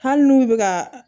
Hali n'u bɛ ka